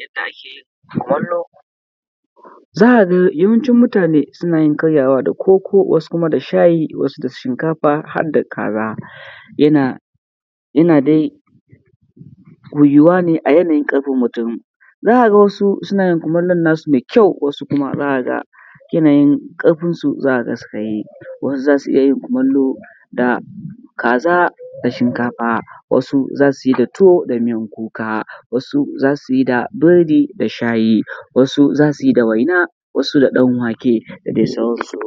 Yadda ake yin kumallo, za ka ga yawancin mutane suna yin karyawa da koko, wasu kuma da shayi wasu da shinkafa har da kaza. Yana yana dai yuwuwa a yanayin ƙarfin mutum,, za ka gasu suna yin kumallon nasu mai kyau, wasu kuma za ka ga yanayin ƙarfinsu za ka ga suka yi, wasu za su iya yin kumullo da, kaza da shinkafa wasu za su yi da tuwo da miyan kuka. asu za su yi da biredi da shayi, wasu za su yi da waina, wasu da ɗanwake da dai sauransu.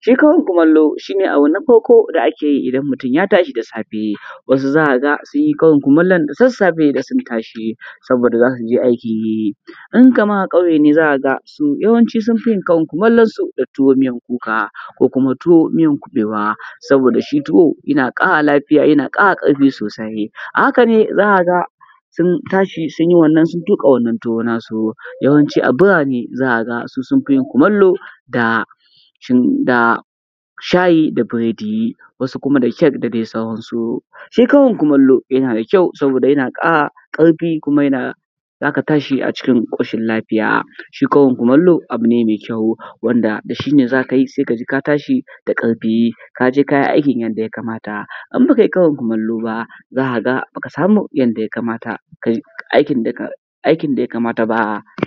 Shi karin kumallo si ne abu na farko da ake yi idan mutun ya tashi da safe. Wasu z aka ga sun yi karin kumallo da sassafe da sun tashi. Saboda za su je aiki, in kaman a ƙauye ne za ka ga, yawanci sun fi yin karin kumallo su ne da tuwo min kuka ko kuma tuwo miyan kuɓewa, saboda shi tuwa yana ƙara lafiya, yana ƙara ƙarfi sosai. A haka ne z aka ga sun tashi sun yi wannan sun tuƙa wannan tuwo nasu, yawanci su birane su sun fi yin kumallo da da shin da shayi da biredi, wasu kuma da cake da dai sauransu. Shi karin kumallo yana kyau saboda yana ƙara ƙarfi kuma yana, z aka tashi a cikin ƙoshin lafiya. Shi karin kumallo abu ne mai kyau. Wanda da shi ne za la yi ka ji ka tashi da ƙarfi, ka je ka yi aikin yadda yakamata. In ba kai karin kumallo ba, za ka ga ba ka sami yadda yakamata aikin da yakamata ba.